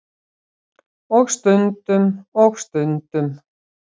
Og stundum. og stundum.